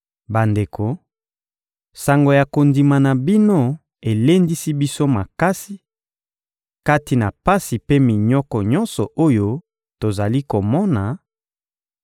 Bandeko, sango ya kondima na bino elendisi biso makasi, kati na pasi mpe minyoko nyonso oyo tozali komona;